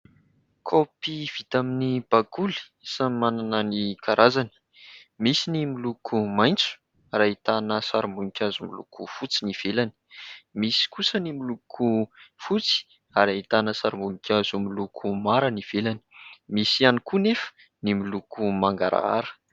Kaopy vita amin'ny bakoly, samy manana ny karazany : misy ny miloko maitso ary ahitana sarim-boninkazo miloko fotsy ny ivelany, misy kosa ny miloko fotsy ary ahitana sarim-bonikazo miloko mara ny ivelany, misy ihany koa nefa ny miloko mangarahara.